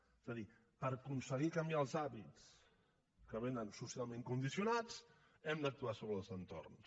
és a dir per aconseguir canviar els hàbits que vénen socialment condicionats hem d’actuar sobre els entorns